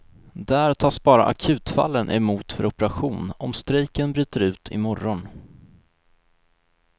Där tas bara akutfallen emot för operation om strejken bryter ut i morgon.